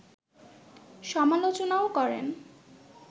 সমালোচনাও করেন